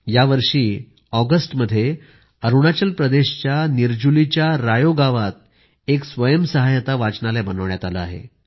यावर्षी अरूणाचल प्रदेशच्या निरजुलीच्या रायो गावात एक स्वयंसहाय्यता वाचनालय बनवण्यात आलं आहे